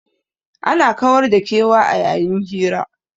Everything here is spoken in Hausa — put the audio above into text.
Ana kawar da kewa a yayin hira.